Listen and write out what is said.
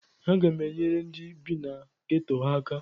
Aga m enyere ndị bi na geto aka